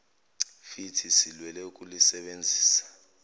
fithi silwele ukulusebenzisa